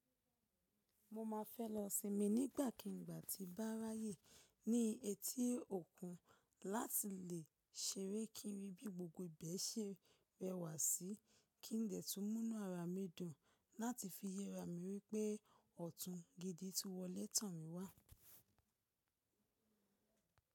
Mo ma fẹ́ lọ sinmi nígbàkigbà tí bá ráyè ní etí òkun láti lè ṣeré kí n rí bí gbogbo ibẹ̀ se rẹwà sí, kí n dẹ̀ tún múnú ara mi dùn láti fi yẹra mi wípé ọ̀tún gidi ti wọlẹ́ tán mi wá.